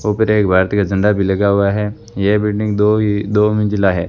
ऊपर एक भारत का झंडा भी लगा हुआ है यह बिल्डिंग दो ही दो मंजिला है।